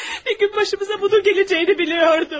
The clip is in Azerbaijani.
Bir gün başımıza bunun gələcəyini bilirdim.